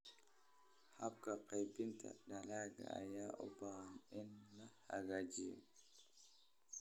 Habka qaybinta dalagga ayaa u baahan in la hagaajiyo.